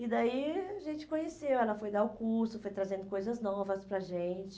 E daí a gente conheceu, ela foi dar o curso, foi trazendo coisas novas para a gente.